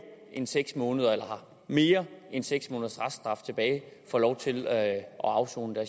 end seks måneder eller har mere end seks måneders reststraf tilbage får lov til at afsone